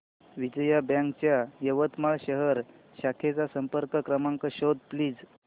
Vijaya Bank च्या यवतमाळ शहर शाखेचा संपर्क क्रमांक शोध प्लीज